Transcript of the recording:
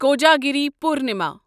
Kojagiri Purnima